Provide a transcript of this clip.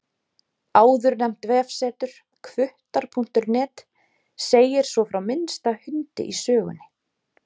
Áðurnefnt vefsetur, hvuttar.net, segir svo frá minnsta hundi í sögunni.